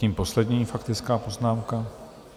Zatím poslední faktická poznámka.